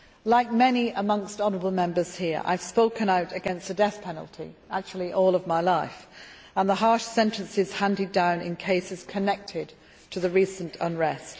Like many amongst the honourable Members here I have spoken out against the death penalty actually all of my life and the harsh sentences handed down in cases connected to the recent unrest.